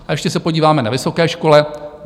A ještě se podíváme na vysoké školy.